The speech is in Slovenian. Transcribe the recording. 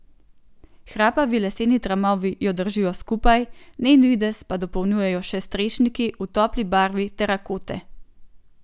Hrapavi leseni tramovi jo držijo skupaj, njen videz pa dopolnjujejo še strešniki v topli barvi terakote.